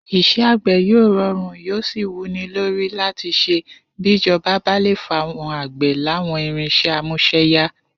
Is̩é̩ àgbè̩ yóò ro̩rùn yóò sì wú ni lórí láti s̩e bíjo̩ba bá le fáwo̩n àgbè̩ láwọ̀n irins̩é̩ amús̩e̩yá